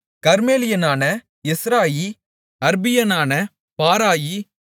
கர்மேலியனான Hezrai அர்பியனான பாராயி